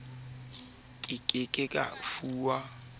a ke ke a fuwa